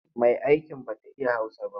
Mai'aikin ba ta iya Hausa ba.